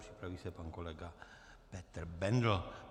Připraví se pan kolega Petr Bendl.